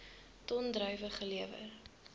ton druiwe gelewer